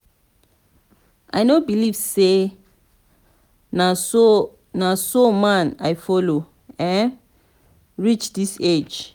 i no believe say na so so man i follow um reach dis age.